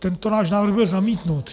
Tento náš návrh byl zamítnut.